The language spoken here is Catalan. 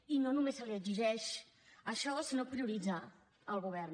i no només se li exigeix això sinó prioritzar al govern